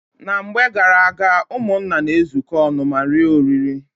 Na mgbe garaaga, ụmụnna na-ezuko ọnụ ma rie oriri.